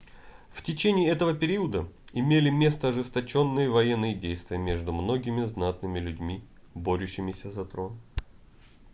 в течение этого периода имели место ожесточенные военные действия между многими знатными людьми борющимися за трон